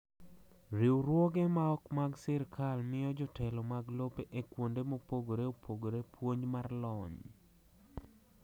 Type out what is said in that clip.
Riwruoge ma ok mag sirkal miyo jotelo mag lope e kuonde mopogore opogore puonj mar lony.